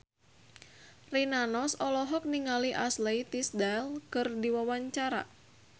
Rina Nose olohok ningali Ashley Tisdale keur diwawancara